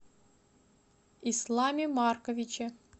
исламе марковиче